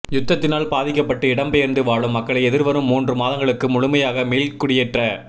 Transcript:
யுத்தத்தினால் பாதிக்கப்பட்டு இடம்பெயர்ந்து வாழும் மக்களை எதிர்வரும் மூன்று மாதங்களுக்குள் முழுமையாக மீள்குடியேற்ற